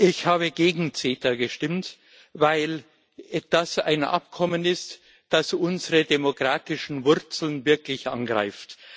Ich habe gegen CETA gestimmt, weil er ein Abkommen ist, das unsere demokratischen Wurzeln wirklich angreift.